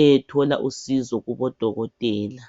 eyethola usizo kubodokotela